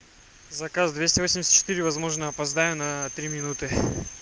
заказ двести восемьдесят четыре возможно опоздаю на три минуты